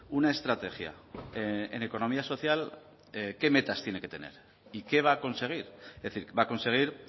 una estrategia en economía social qué metas tiene que tener y qué va a conseguir es decir va a conseguir